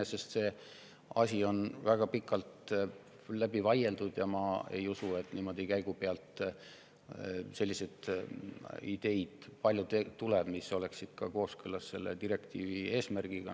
Iseenesest on see asi väga pikalt läbi vaieldud ja ma ei usu, et niimoodi käigu pealt tuleb palju selliseid ideid, mis oleksid kooskõlas selle direktiivi eesmärgiga.